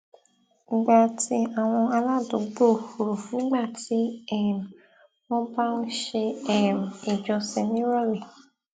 gba ti àwọn aládùúgbò rò nígbà tí um wón bá ń ṣe um ìjọsìn níròlé